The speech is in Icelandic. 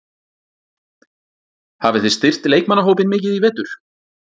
Hafið þið styrkt leikmannahópinn mikið í vetur?